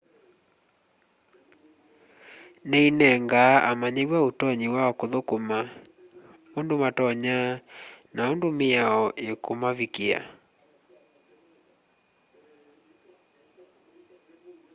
ni inengaa amanyiwa utonyi wa kuthukuma undu matonya na undu miao ikumavikia